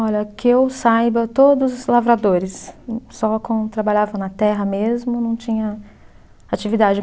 Olha, que eu saiba, todos lavradores, só com, trabalhavam na terra mesmo, não tinha atividade.